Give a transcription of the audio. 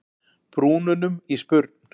brúnunum í spurn.